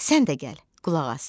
Sən də gəl qulaq as.